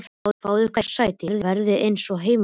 Fáið ykkur sæti og verið eins og heima hjá ykkur!